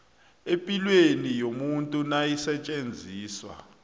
epilweni yomuntu nayisetjenziswa